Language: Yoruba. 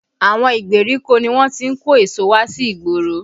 Àwọn ìgbèríko ni wọ́n ti ń kó èso wá sí igboro